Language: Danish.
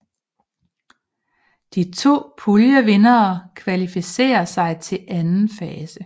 De to puljevindere kvalificerer sig til anden fase